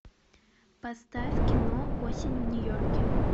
поставь кино осень в нью йорке